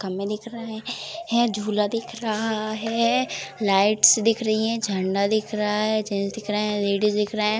खम्भे दिख रहे हैं झूला दिख रहा है लाइट्स दिख रही हैं झंडा दिख रहा है जेंट्स दिख रहे है लेडीज दिख रहे हैं।